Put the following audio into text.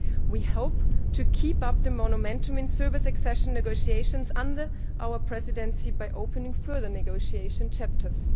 We hope to keep up the momentum in Serbia's accession negotiations under our Presidency by opening further negotiation chapters.